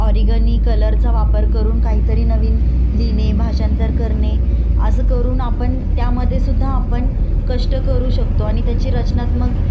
कष्ट करू शकतो आणि त्याची रचनात्मक रचना इतकि छान करून त्याच्यावर आपण श्रमाला सर्जनात्मक श्रम